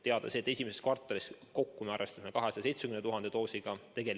Teada on see, et esimeses kvartalis kokku me arvestame 270 000 doosiga.